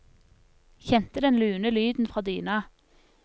Kjente den lune lyden fra dyna.